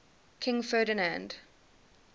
king ferdinand